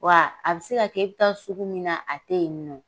Wa a bɛ se ka kɛ i bɛ taa sugu min na a tɛ yen nɔ.